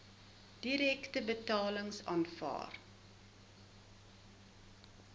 direkte betalings aanvaar